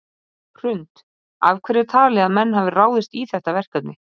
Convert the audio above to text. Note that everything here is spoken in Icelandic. Hrund: Af hverju er talið að menn hafi ráðist í þetta verkefni?